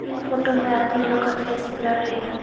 इन photo में आदमी लोग का फेस ब्लर्र है।